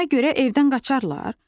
Buna görə evdən qaçağlar?